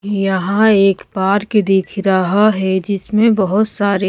यहाँ एक पार्क दिख रहा है जिसमें बहुत सारे--